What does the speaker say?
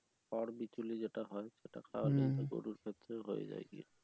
খড় বিচুলি যেটা হয় সেটা খাওয়ালে ও গরুর ক্ষেত্রে হয়ে যায় আর কি